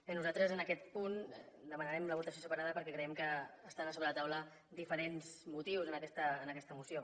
bé nosaltres en aquest punt demanarem la votació separada perquè creiem que estan a sobre la taula diferents motius en aquesta moció